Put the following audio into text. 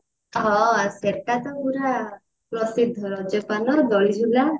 ହଁ ସେଟା ତ ପୁରା ପ୍ରସିଦ୍ଧ ରଜ ପାନ ବଡଝୁଲା